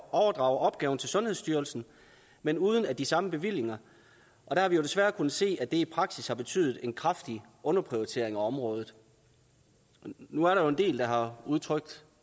overdrage opgaven til sundhedsstyrelsen men uden de samme bevillinger og der har vi desværre kunnet se at det i praksis har betydet en kraftig underprioritering af området nu er der jo en del der har udtrykt